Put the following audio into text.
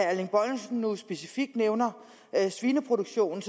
erling bonnesen nu specifikt nævner svineproduktionen